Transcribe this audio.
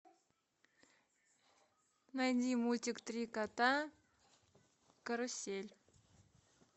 найди мультик три кота карусель